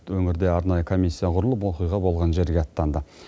өңірде арнайы комиссия құрылып оқиға болған жерге аттанды